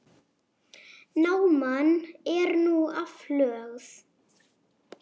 Náman er nú aflögð.